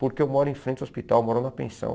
Porque eu moro em frente ao hospital, moro na pensão.